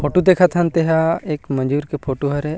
Photo देखत हन तेहा एक मजूर के फोटो हरे।